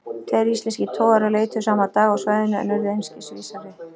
Tveir íslenskir togarar leituðu sama dag á svæðinu, en urðu einskis vísari.